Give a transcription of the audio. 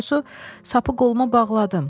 Doğrusu, sapı qoluma bağladım.